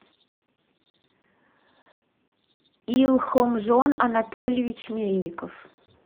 илхомжон анатольевич мельников